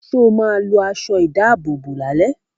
Sọ ma lọ aṣọ ìdábòbò lálẹ́?